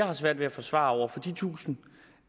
har svært ved at forsvare over for de tusind